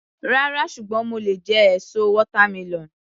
Rárá, ṣùgbọ́n mo lè jẹ èso watermelon.